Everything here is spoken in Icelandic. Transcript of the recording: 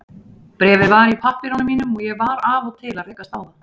Bréfið var í pappírunum mínum og ég var af og til að rekast á það.